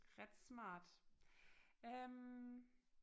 Ret smart øh